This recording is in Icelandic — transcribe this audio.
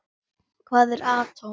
Hvað er atóm?